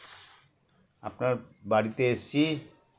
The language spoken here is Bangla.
আপনার বাড়িতে এসছি